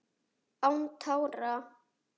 Án tára